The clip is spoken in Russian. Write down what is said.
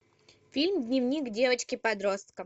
фильм дневник девочки подростка